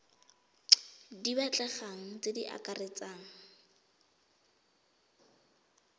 di batlegang tse di akaretsang